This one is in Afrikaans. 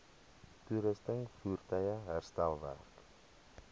toerusting voertuie herstelwerk